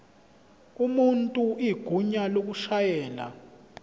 umuntu igunya lokushayela